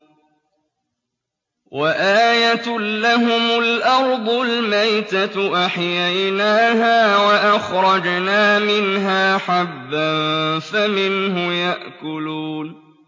وَآيَةٌ لَّهُمُ الْأَرْضُ الْمَيْتَةُ أَحْيَيْنَاهَا وَأَخْرَجْنَا مِنْهَا حَبًّا فَمِنْهُ يَأْكُلُونَ